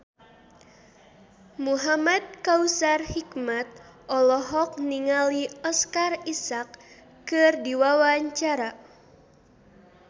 Muhamad Kautsar Hikmat olohok ningali Oscar Isaac keur diwawancara